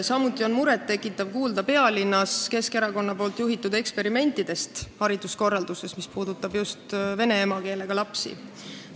Samuti tekitab muret, et oleme kuulnud pealinnas Keskerakonna juhitud hariduskorralduslikest eksperimentidest, mis puudutavad just vene emakeelega lapsi.